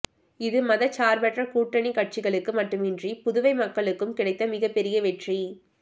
இது மதச்சார்பற்ற கூட்டணிக் கட்சிகளுக்கு மட்டுமின்றி புதுவை மக்களுக்கும் கிடைத்த மிகப் பெரிய வெற்றி